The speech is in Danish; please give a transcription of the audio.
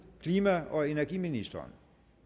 klima og energiministeren